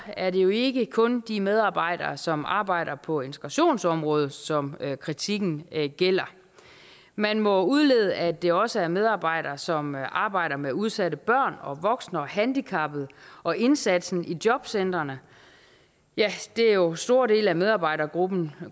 er det jo ikke kun de medarbejdere som arbejder på integrationsområdet som kritikken gælder man må udlede at det også er medarbejdere som arbejder med udsatte børn og voksne og handicappede og indsatsen i jobcentrene ja det er jo store dele af medarbejdergrupperne